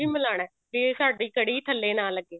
ਮਿਲਾਉਣਾ ਵੀ ਸਾਡੀ ਕੜ੍ਹੀ ਥੱਲੇ ਨਾ ਲੱਗੇ